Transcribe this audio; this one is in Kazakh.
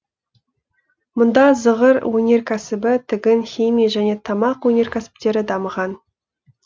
мұнда зығыр өнеркәсібі тігін химия және тамақ өнеркәсіптері дамыған